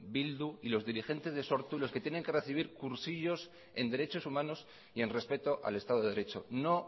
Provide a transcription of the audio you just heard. bildu y los dirigentes de sortu los que tienen que recibir cursillos en derechos humanos y en respeto al estado de derecho no